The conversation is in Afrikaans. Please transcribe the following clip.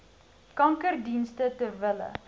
kankerdienste ter wille